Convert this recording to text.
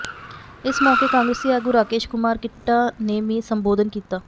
ਇਸ ਮੌਕੇ ਕਾਂਗਰਸੀ ਆਗੂ ਰਾਕੇਸ਼ ਕੁਮਾਰ ਕਿੱਟਾ ਨੇ ਵੀ ਸੰਬੋਧਨ ਕੀਤਾ